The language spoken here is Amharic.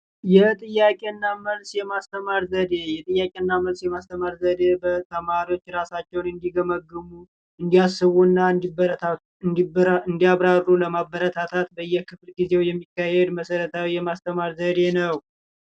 የጥያቄና መልስ የማስተማር ዘዴ፦ የጥያቄና መልስ የማስተማር ዘዴ ተማሪዎች ራሳቸውን እንዲገመግሙ እንዳያስቡና እንዲበረታቱ ለማበረታታት በየክፍለ ጊዜው የሚካሄድ መሠረታዊ የማስተማር ዘዴ ነው።